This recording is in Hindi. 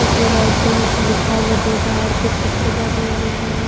इसमें व्हाइट कलर से लिखा हुआ दो टायर के चित्र बने हुए हैं।